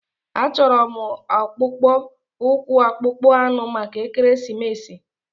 Achọrọ m akpụkpọ ụkwụ akpụkpọ anụ maka ekeresimesi.